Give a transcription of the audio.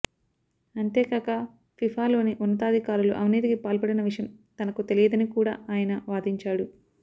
అంతేకాక ఫిఫాలోని ఉన్నతాధికారులు అవినీతికి పాల్పడిన విషయం తనకు తెలియదని కూడా ఆయన వాదించాడు